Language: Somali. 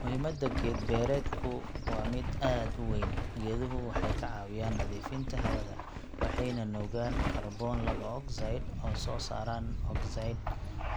Muhiimadda geed beerdku waa mid aad u weyn. Geeduhu waxay ka caawiyaan nadiifinta hawada, waxayna nuugaan kaarboon laba ogsayd oo soo saaraan ogsayd